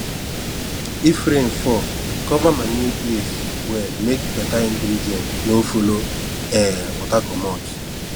if rain fall cover manure place well make beta ingredient no follow um water comot